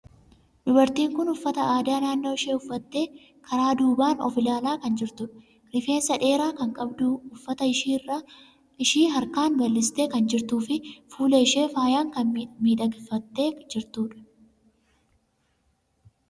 Dubartiin kun uffata aadaa naannoo ishii uffattee karaa duubaan of ilaalaa kan jirtudha. Rifeensa dheeraa kan qabdu, uffata ishii harkaan bal'istee kan jirtuu fi fuula ishii faayaan kan miidhagfattee jirtudha.